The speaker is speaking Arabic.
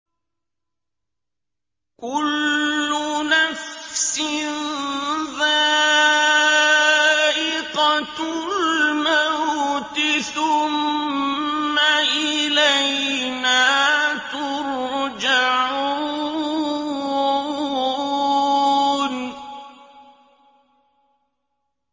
كُلُّ نَفْسٍ ذَائِقَةُ الْمَوْتِ ۖ ثُمَّ إِلَيْنَا تُرْجَعُونَ